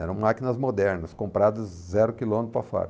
Eram máquinas modernas, compradas zero quilômetro para fora.